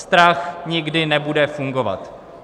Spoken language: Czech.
Strach nikdy nebude fungovat.